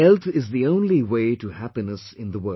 Health is the only way to happiness in the world